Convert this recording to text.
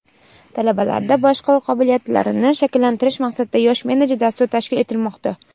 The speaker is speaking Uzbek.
talabalarda boshqaruv qobiliyatlarini shakllantirish maqsadida "Yosh menejer" dasturi tashkil etilmoqda.